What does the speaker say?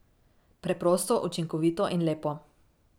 Preprosto, učinkovito in lepo!